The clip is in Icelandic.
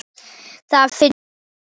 Það finnst mér rangt.